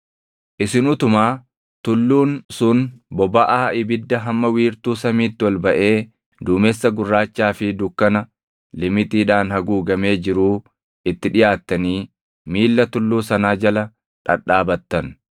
Isin utumaa tulluun sun bobaʼaa ibidda hamma wiirtuu samiitti ol baʼee duumessa gurraachaa fi dukkana limixiidhaan haguugamee jiruu itti dhiʼaattanii miilla tulluu sanaa jala dhadhaabattan.